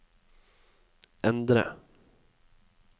endre